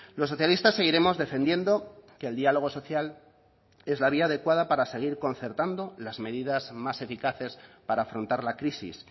los socialistas seguiremos defendiendo que el diálogo social es la vía adecuada para salir concertando las medidas más eficaces para afrontar la crisis